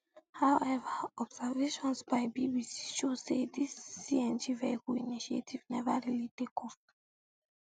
however observations by bbc show say dis cngvehicle initiative neva really take off